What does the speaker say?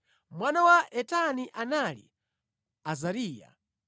Mwana wa Etani anali Azariya.